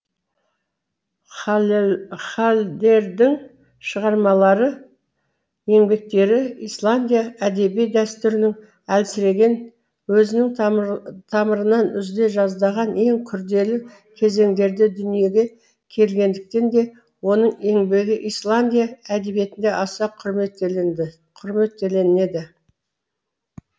халлдердың шығармалары еңбектері исландия әдеби дәстүрінің әлсіреген өзінің тамырынан үзіле жаздаған ең күрделі кезеңдерде дүниеге келгендіктен де оның еңбегі исландия әдебиетінде аса құрметтелінеді